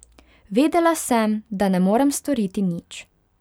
Vedela sem, da ne morem storiti nič.